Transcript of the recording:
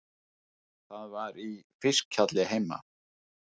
Það var í fiskhjalli heima.